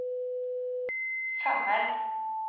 femmeren